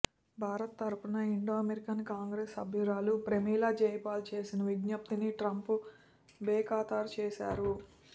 భారత్ తరఫున Indo American Congress సభ్యురాలు ప్రమీలా జయపాల్ చేసిన విజ్ఞప్తిని ట్రంప్ బేఖాతరు చూశారు